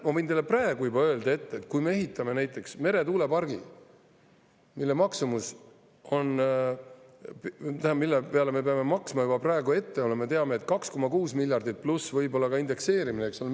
" Ja ma võin teile juba praegu öelda, et kui me ehitame näiteks meretuulepargi, siis selleks me peame maksma juba praegu ette, nagu me teame, 2,6 miljardit eurot, pluss võib-olla ka indekseerimine, eks ole.